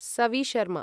Savi Sharma